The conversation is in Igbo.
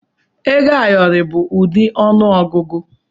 Ego ayọrọ bụ ụdị ọnụ ọgụgụ.